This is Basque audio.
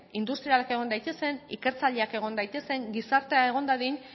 industrialak egon daitezen ikertzaileak egon daitezen gizartea egon dadin